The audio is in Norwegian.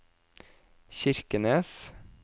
Kirkenes